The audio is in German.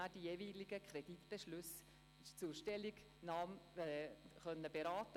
Aus Fehlern kann und soll man lernen.